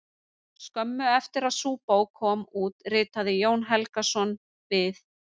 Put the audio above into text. Skömmu eftir að sú bók kom út ritaði Jón Helgason: Við